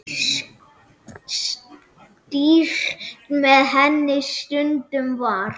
Stýrt með henni stundum var.